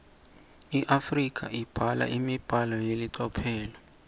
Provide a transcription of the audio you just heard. iafrika ibhala imibhalo yelicophelo